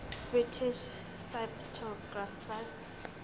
british cryptographers